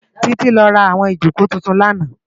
Titi lò rá áwòn ijókó tútún làná